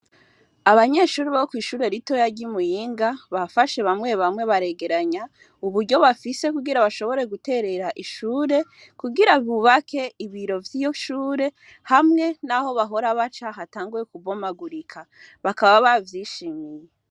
Abanyeshuri bo kw'ishure ritoya ry'imuyinga bafashe bamwe bamwe baregeranya uburyo bafise kugira bashobore guterera ishure kugira bubake ibiro vy'iyo shure hamwe, naho bahora baca hatanguye kubomagurika bakaba bavyishimiye.